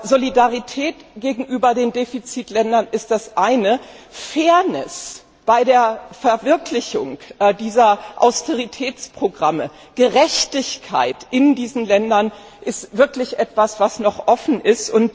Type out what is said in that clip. Solidarität gegenüber den Defizitländern ist das eine, Fairness bei der Verwirklichung dieser Austeritätsprogramme, Gerechtigkeit in diesen Ländern ist wirklich etwas, was noch offen ist.